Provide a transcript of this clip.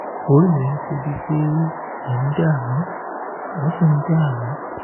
orí rẹ̀ ń ṣe é bíi pé ó ń dààmú ó sì ń dààmú